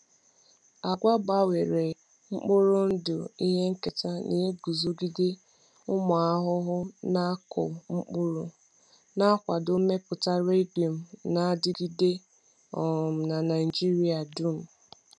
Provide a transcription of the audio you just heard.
Agwa gbanwere mkpụrụ ndụ ihe nketa na-eguzogide ụmụ ahụhụ ahụhụ na-akụ mkpụrụ, na-akwado mmepụta legume na-adigide um n’Naijiria dum. um